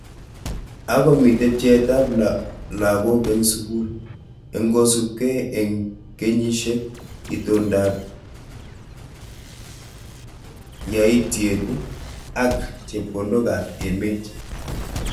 Ako mitei pcheet ab lakoko eng sukul eng kosubkei eng kenyishek, itondo ap yaityet ak chepkondonk ab emet.